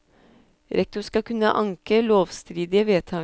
Rektor skal kunne anke lovstridige vedtak.